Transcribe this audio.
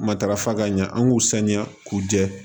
Matarafa ka ɲɛ an k'u saniya k'u jɛ